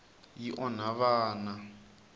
yi onha vana